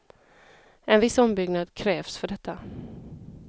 En viss ombyggnad krävs för detta.